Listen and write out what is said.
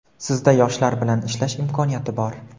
Sizda yoshlar bilan ishlash imkoniyati bor!.